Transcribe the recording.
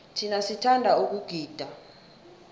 thina sithanda ukugida